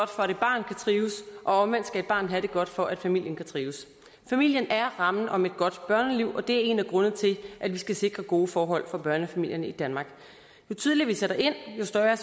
trives og omvendt skal et barn have det godt for at familien kan trives familien er rammen om et godt børneliv og det er en af grundene til at vi skal sikre gode forhold for børnefamilierne i danmark jo tidligere vi sætter ind jo større